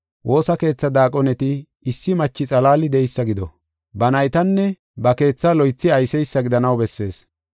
Woosa keethaa daaqoneti issi machi xalaali de7eysa gido. Ba naytanne ba keethaa loythi ayseysa gidanaw bessees.